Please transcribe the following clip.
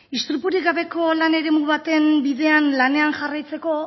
istripurik gabeko lan eremu baten bidean lanean jarraitzeko